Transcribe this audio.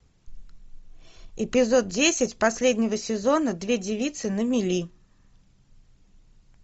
эпизод десять последнего сезона две девицы на мели